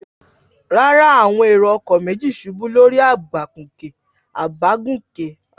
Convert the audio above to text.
Rárá, àwọn èrò-ọkọ̀ méjì ṣubú lórí àbágùnkè.